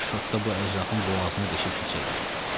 Kaş şotka bu əclafın boğazına deşib keçəydi.